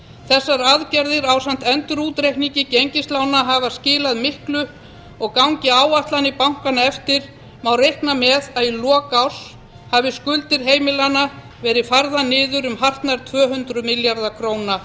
þessar aðgerðir ásamt endurútreikningi gengislána hafa skilað miklu og gangi áætlanir bankanna eftir má reikna með að í lok árs hafi skuldir heimilanna verið færðar niður um hartnær tvö hundruð milljarða króna